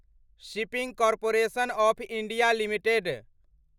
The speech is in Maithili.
shipping corporation of India limited